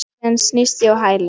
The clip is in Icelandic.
Síðan snýst ég á hæli.